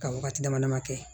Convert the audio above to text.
Ka wagati dama dama kɛ